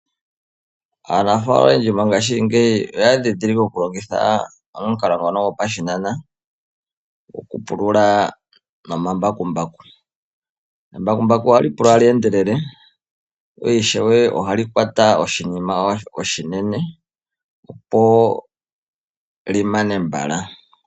Aanafaalama oyendji mongaashingeyi oya ndhindhilike okulongitha omukalo ngono gopashinanena goku pulula nomambakumbaku. Embakumbaku oha li pulula ta li endelele na ishewe oha li kwata oshinima oshinene opo li mane mbala.